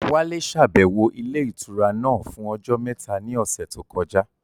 Wálé ṣàbẹ̀wò ilé ìtura náà fún ọjọ́ mẹ́ta ní ọ̀sẹ̀ tó kọjá